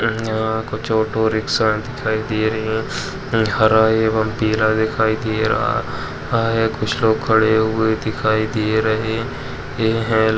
अ कुछ auto rickshaw दिखाई दे रही है। हरा एवं पीला दिखाई दे रहा है। कुछ लोग खड़े हुए दिखाई दे रहे हैं।